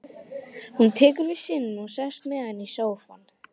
Hún tekur við syninum og sest með hann í sófann.